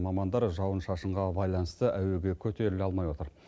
мамандар жауын шашынға байланыста әуеге көтеріле алмай отыр